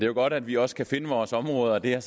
jo godt at vi også kan finde vores områder og det er